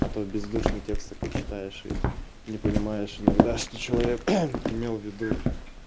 а то бездушный текст такой читаешь и не понимаешь иногда что человек имел в виду